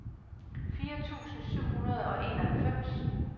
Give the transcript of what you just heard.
fire tusind syv hundrede og enoghalvfems